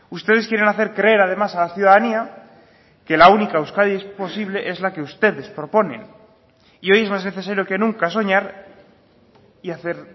ustedes quieren hacer creer además a la ciudadanía que la única euskadi posible es la que ustedes proponen y hoy es más necesario que nunca soñar y hacer